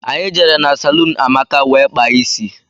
Anyị jere na salún Amaka wee kpaa isi.